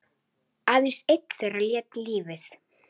Aðeins einn þeirra lét lífið.